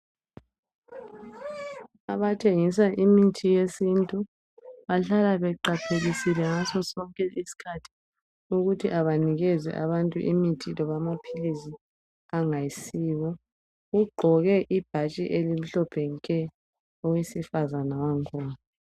Abathengisa imithi yesintu bahlala beqaphelisile ngaso sonke isikhathi ukuthi abanikeze abantu imithi loba amaphilisi angayisiwo ugqoke ibhatshi elimhlophe nke owesifazana wangakhona.